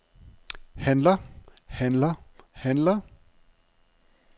handler handler handler